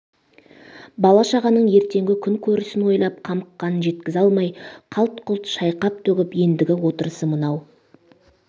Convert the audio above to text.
бала-шағаның ертеңгі күн көрсін ойлап қамыққаны жеткізе алмай қалт-құлт шайқап-төгіп ендігі отырысы мынау